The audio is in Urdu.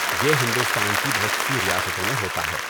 یہ ہندوستان کی بہت سی ریاستوں میں ہوتا ہے۔